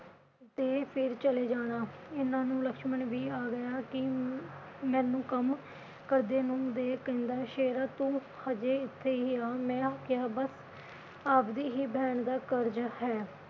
ਤੇ ਫਿਰ ਚਲੇ ਜਾਣਾ, ਇਨ੍ਹਾਂ ਨੂੰ ਲਕਸ਼ਮਣ ਵੀ ਆ ਗਿਆ ਕਿ ਮੈਨੂੰ ਕੰਮ ਕਰਦੇ ਨੂੰ ਦੇਖ ਕਹਿੰਦਾ ਸ਼ੇਰਾ ਤੂੰ ਅਜੇ ਇਥੇ ਹੀ ਐ ਮੈੰ ਕਿਹਾ ਬਸ ਆਪਦੀ ਹੀ ਬਹਿਣ ਦਾ ਕਰਜ ਹੈ।